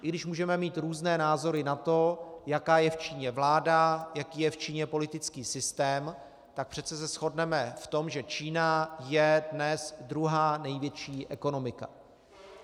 I když můžeme mít různé názory na to, jaká je v Číně vláda, jaký je v Číně politický systém, tak přece se shodneme v tom, že Čína je dnes druhá největší ekonomika.